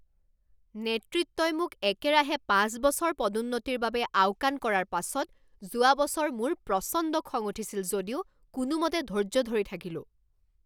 নেতৃত্বই মোক একেৰাহে পাঁচ বছৰ পদোন্নতিৰ বাবে আওকাণ কৰাৰ পাছত যোৱা বছৰ মোৰ প্ৰচণ্ড খং উঠিছিল যদিও কোনোমতে ধৈৰ্য ধৰি থাকিলোঁ।